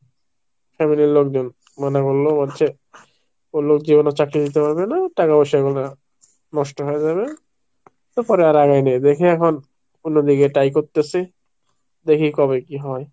family র লোকজন মনে করলো বলছে বললো যেও না চাকরি দিতে পারবে না টাকা পয়সা গুলো নষ্ট হয়ে যাবে তারপরে আর আগাইনি দেখি এখন অন্যদিকে try করতেছি দেখি কবে কি হয়।